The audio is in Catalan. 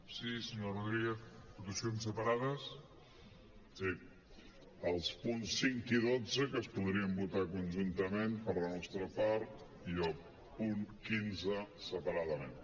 sí els punts cinc i dotze que es podrien votar conjuntament per la nostra part i el punt quinze separadament